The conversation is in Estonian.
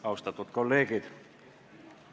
Austatud kolleegid!